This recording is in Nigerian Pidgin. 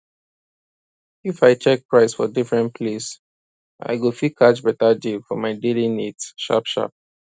if i check price for different place i go fit catch beta deal for my daily needs sharp sharp